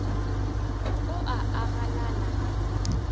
o a a galala ga